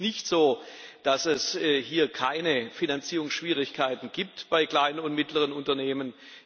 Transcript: Und es ist nicht so, dass es hier keine Finanzierungsschwierigkeiten gibt bei kleinen und mittleren Unternehmen.